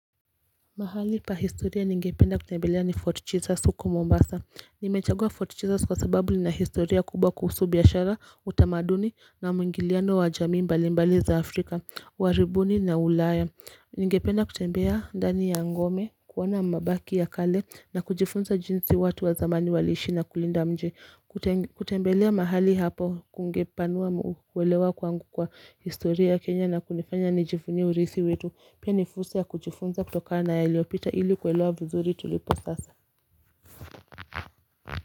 Mahali pahistoria ningependa kutembelea ni Fort jesus huko Mombasa Nimechagua Fort jesus kwa sababu ni na historia kubwa kuhusu biashara utamaduni na mungiliano wa jami mbali mbali za afrika wa ribuni na ulaya Ningependa kutembea ndani ya ngome kuwana mabaki ya kale na kujifunza jinsi watu wa zamani walishi na kulinda mji kutembelea mahali hapo kungepanua mwelewa kwangu kwa historia Kenya na kunifanya nijifunie urisi wetu Pia nifursa ya kujifunza kutoka na ya iliopita ili kwelewa vizuri tulipo sasa.